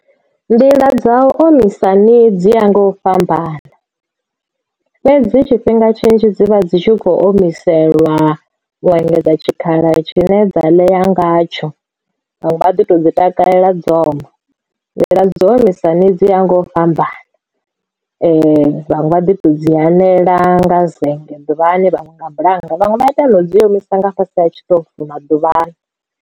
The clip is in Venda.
Nḓila dza u omisa ṋii dzi ya nga u fhambana fhedzi tshifhinga tshinzhi dzivha dzi tshi kho omiselwa u engedza tshikhala tshine dza ḽea ngatsho vhanwe vha ḓi to dzi takalela dzo oma nḓila dzo omisa dzi ya nga u fhambana vhaṅwe vha ḓi to dzi anela nga zennge ḓuvhani vhaṅwe nga bulannga vhaṅwe vha ita no dzi omisa nga tshiṱofu maḓuvha ano.